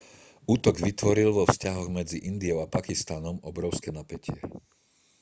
útok vytvoril vo vzťahoch medzi indiou a pakistanom obrovské napätie